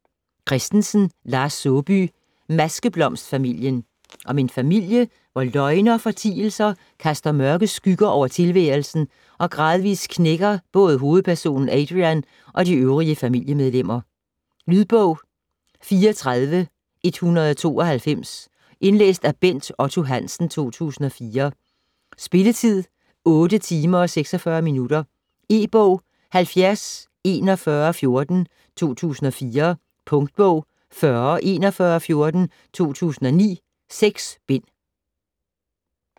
Christensen, Lars Saabye: Maskeblomstfamilien Om en familie hvor løgne og fortielser kaster mørke skygger over tilværelsen og gradvis knækker både hovedpersonen Adrian og de øvrige familiemedlemmer. Lydbog 34192 Indlæst af Bent Otto Hansen, 2004. Spilletid: 8 timer, 46 minutter. E-bog 704114 2004. Punktbog 404114 2009. 6 bind.